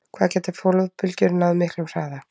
Hvað geta flóðbylgjur náð miklum hraða?